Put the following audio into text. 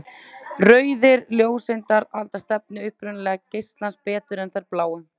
Rauðar ljóseindir halda stefnu upprunalega geislans betur en þær bláu.